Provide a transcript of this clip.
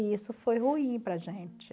E isso foi ruim para a gente.